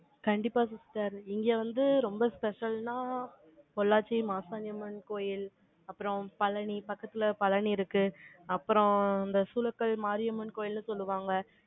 கண்டிப்பா sister இங்க வந்து, ரொம்ப special ன்னா, பொள்ளாச்சி மாசாணியம்மன் கோயில், அப்புறம் பழனி, பக்கத்துல பழனி இருக்கு. அப்புறம், இந்த சூலக்கல் மாரியம்மன் கோயில்ல, சொல்லுவாங்க.